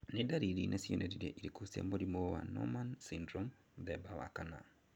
Nĩ dariri na cionereria irĩkũ cia mũrimũ wa Noonan syndrome 4?